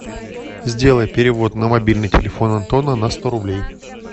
сделай перевод на мобильный телефон антона на сто рублей